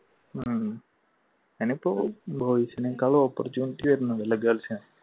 ഉം boys നെ കാളും opportunity വരുന്നുണ്ടല്ലേ girls ന്